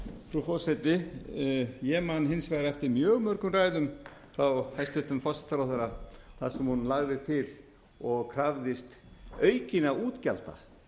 frú forseti ég man hins vegar eftir mjög mörgum ræðum frá hæstvirtum forsætisráðherra þar sem hún lagði til og krafðist aukinna útgjalda